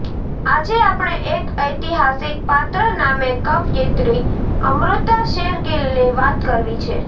આજે આપણે એક ઐતિહાસિક પાત્ર નામે કવયિત્રી અમૃતા શેરગીલની વાત કરવી છે